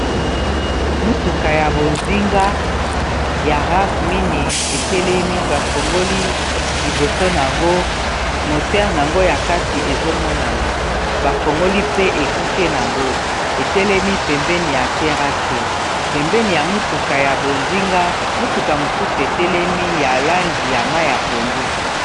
Motuka ya bozinga ya Rav mineyi etelemi bafongoli liboso nango moteur nango ya kati ezo monana bafongoli pe ekuke nango etelemi pembeni ya terasse pembeni ya motuka ya bozinga motuka mosusu etelemi ya langi ya mayi ya pondu.